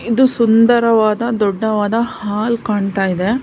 ಇದು ಸುಂದರವಾದ ದೊಡ್ಡವಾದ ಹಾಲ್ ಕಾಣ್ತಾ ಇದೆ.